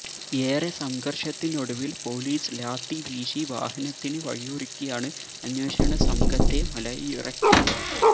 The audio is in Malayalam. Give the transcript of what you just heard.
ഏറെ സംഘർഷത്തിനൊടുവിൽ പോലീസ് ലാത്തിവീശി വാഹനത്തിന് വഴിയൊരുക്കിയാണ് അന്വേഷണ സംഘത്തെ മലയിറക്കിയത്